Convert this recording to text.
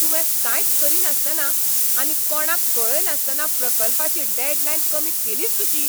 तुवें कांयच करिनासतना आनी कोणाक कळयनासतना प्रकल्पाची डॅडलायन कमी केलीच कशी?